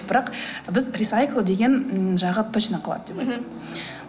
бірақ біз рисайкл деген жағы точно қалады деп айттық мхм